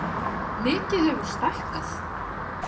Mikið hefurðu stækkað.